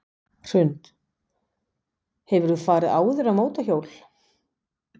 Hrund: Hefur þú farið áður á mótorhjól?